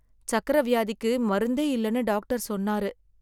சர்க்கரை வியாதிக்கு மருந்தே இல்லனு டாக்டர் சொன்னாரு.